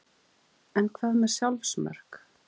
En hvað með sjálfsmörk?